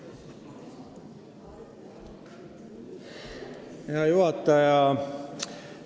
Hea juhataja!